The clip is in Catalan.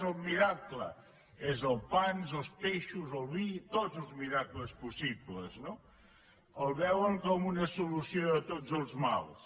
és el miracle és els pans els peixos el vi tots els miracles possibles no el veuen com una solució a tots els mals